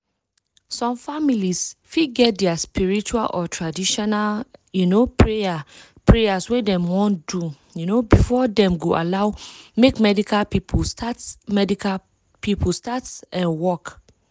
some families fit get dia spiritual or traditional um prayers wey dem wan do um before dem go allow make medical people start medical people start work.